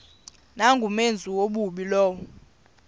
nangumenzi wobubi lowo